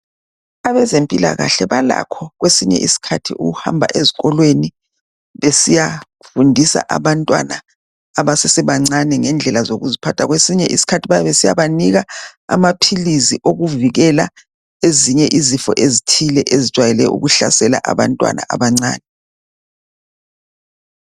Abezempilakahle balakho kwesinye isikhathi ukuhamba ezikolweni besiyafundisa abantwana abasesebancane ngendlela zokuziphatha. Kwesinye isikhathi bayabe besiyabanika amaphilisi okuvikila ezinye izifo ezithile ezijwayele ukuhlasela abantwana abancane.